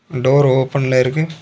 Door ஓபன்ல இருக்கு.